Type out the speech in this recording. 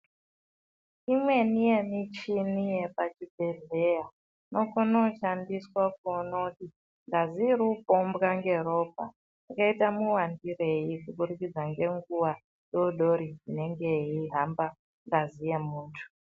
Imweni yemichini yepachibhedhleya inokona kushandiswa kuona kuti ngazi iri kupombwa ngeropa yakaita muwandirei kuburikidza ngenguwa dodori inenge yeihamba ngazi yemunthu.